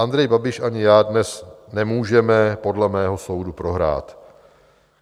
Andrej Babiš ani já dnes nemůžeme podle mého soudu prohrát.